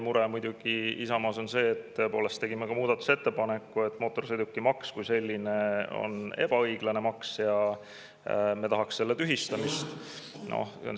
Meie mure Isamaas on muidugi see, tegime ka muudatusettepaneku, et mootorsõidukimaks kui selline on ebaõiglane maks ja me tahame selle tühistamist.